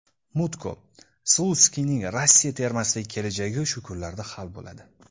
Mutko: Slutskiyning Rossiya termasidagi kelajagi shu kunlarda hal bo‘ladi.